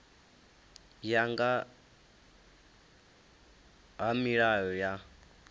ya nga ha milayo ya